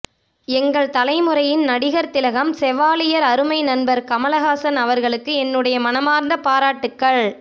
எங்கள் தலைமுறையின் நடிகர் திலகம் செவாலியர் அருமை நண்பர் கமல்ஹாசன் அவர்களுக்கு என்னுடைய மனமார்ந்த பாராட்டுக்கள்